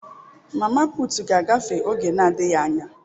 mama putu ga-agafe oge na adighi anya.